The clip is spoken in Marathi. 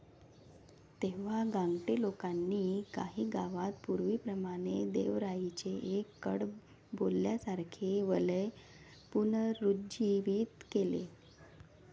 तेव्हा गांगटे लोकांनी काही गावात पूर्वीप्रमाणे देवराईचे एक कडबोल्यासारखे वलय पुनरुज्जीवित केले.